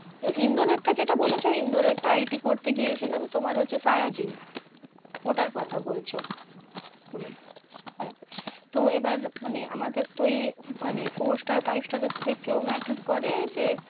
ইন্দোরের এর টা যেটা বলেছো, ইন্দোরের টা IT করতে গিয়েছিলাম তোমার হচ্ছে শায়াজি ওটার কথা বোলছো তুমি, হ্যাঁ তো এবার আমাদের, মানে তো এই four star five star এর থেকেও matter করে যে